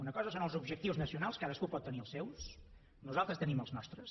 una cosa són els objectius nacionals cadascú pot tenir els seus nosaltres tenim els nostres